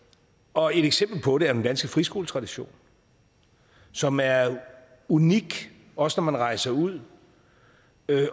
og et eksempel på det er den danske friskoletradition som er unik også når man rejser ud